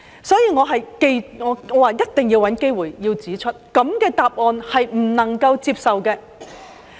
所以，我一定要找機會指出，這樣的答案是不能接受的。